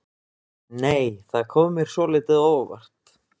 Nei! Það kom mér svolítið á óvart!